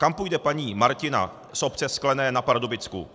Kam půjde paní Martina z obce Sklené na Pardubicku?